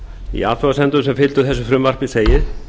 í athugasemdum sem fylgdu þessu frumvarpi segir